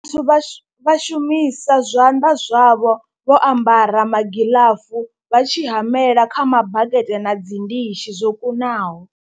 Vhathu vha vha shumisa zwanḓa zwavho vho ambara magiḽafu vha tshi hamela kha mabakete na dzi ndishi zwo kunaho.